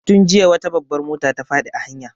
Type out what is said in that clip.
Tun jiya wata babbar mota ta faɗi a hanya.